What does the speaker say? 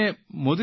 Modi sir